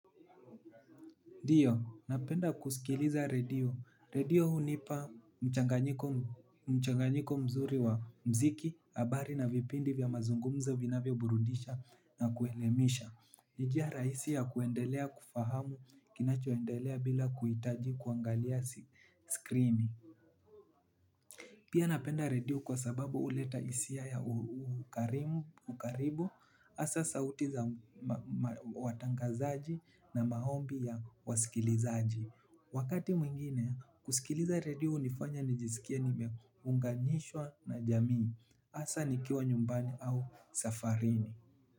Ndiyo, napenda kusikiliza redio. Redio hunipa mchanganyiko mzuri wa mziki, habari na vipindi vya mazungumza vinavyo burudisha na kuelemisha. Ni jia rahisi ya kuendelea kufahamu kinachoendelea bila kuitaji kuangalia skrini. Pia napenda redio kwa sababu uleta isia ya ukaribu, asa sauti za watangazaji na mahombi ya wasikilizaaji. Wakati mwingine kusikiliza radio nifanya nijisikie nimeunganishwa na jamii asa nikiwa nyumbani au safarini.